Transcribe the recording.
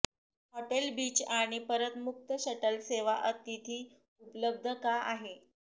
hotel beach आणि परत मुक्त शटल सेवा अतिथी उपलब्ध का आहे